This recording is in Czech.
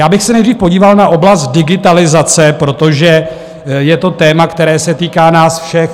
Já bych se nejdřív podíval na oblast digitalizace, protože je to téma, které se týká nás všech.